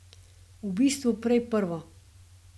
V bistvu prej prvo.